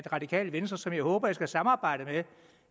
radikale venstre som jeg håber at skulle samarbejde med